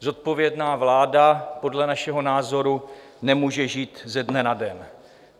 Zodpovědná vláda podle našeho názoru nemůže žít ze dne na den.